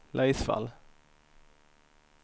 Laisvall